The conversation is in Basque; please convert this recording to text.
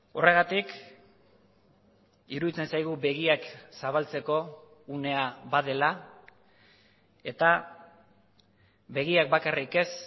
horregatik iruditzen zaigu begiak zabaltzeko unea badela eta begiak bakarrik ez